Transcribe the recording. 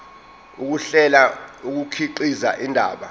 ukuhlela kukhiqiza indaba